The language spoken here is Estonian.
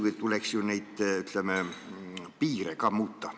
Siis tuleks muidugi ka neid piire muuta.